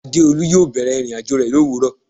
Adeolu yo bẹ̀rẹ̀ ìrìnàjò rẹ lowuro